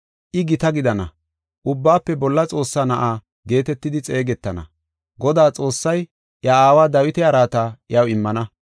I gita gidana, Ubbaafe Bolla Xoossaa na7aa geetetidi xeegetana. Godaa Xoossay iya aawa Dawita araata iyaw immana.